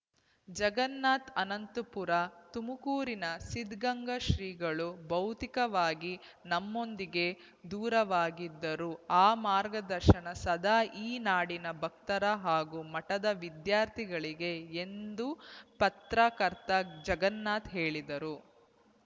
ಜಗನ್ನಾಥ್‌ ಆನಂತುಪುರ ತುಮಕೂರಿನ ಸಿದ್ದಗಂಗಾ ಶ್ರೀಗಳು ಭೌತಿಕವಾಗಿ ನಮ್ಮೊಂದಿಗೆ ದೂರವಾಗಿದ್ದರೂ ಅವರ ಮಾರ್ಗದರ್ಶನ ಸದಾ ಈ ನಾಡಿನ ಭಕ್ತರ ಹಾಗೂ ಮಠದ ವಿದ್ಯಾರ್ಥಿಗಳಿಗೆ ಎಂದು ಪತ್ರಕರ್ತ ಜಗನ್ನಾಥ್‌ ಹೇಳಿದರು